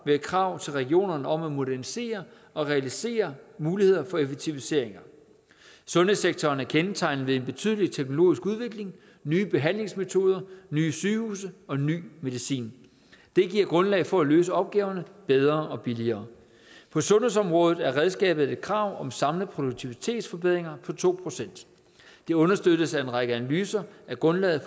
med et krav til regionerne om at modernisere og realisere muligheder for effektiviseringer sundhedssektoren er kendetegnet ved en betydelig teknologisk udvikling nye behandlingsmetoder nye sygehuse og ny medicin det giver grundlag for at løse opgaverne bedre og billigere på sundhedsområdet er redskabet et krav om samlede produktivitetsforbedringer på to procent det understøttes af en række analyser af grundlaget